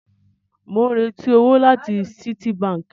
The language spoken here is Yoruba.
Mò ń retí owó láti Citibank